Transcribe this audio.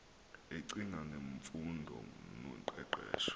ecinga ngemfundo noqeqesho